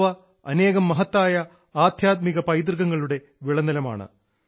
ഗോവ അനേകം മഹത്തായ ആധ്യാത്മിക പൈതൃകങ്ങളുടെ വിളനിലമാണ്